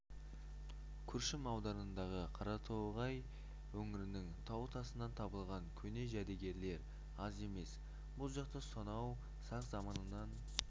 күршім ауданындағы қаратоғай өңірінің тау тасынан табылған көне жәдігерлер аз емес бұл жақта сонау сақ заманынан